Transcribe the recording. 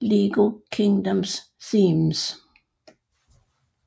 LEGO Kingdoms themes